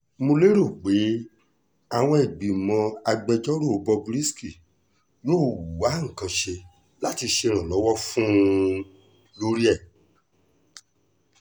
mo lérò pé àwọn ìgbìmọ̀ agbẹjọ́rò bob risky yóò wá nǹkan ṣe láti ṣe ìrànlọ́wọ́ fún un un lórí ẹ̀